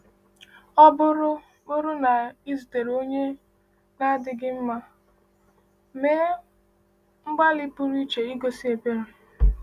Ọ bụrụ bụrụ na ị zutere onye na-adịghị mma, mee mgbalị pụrụ iche igosi ebere.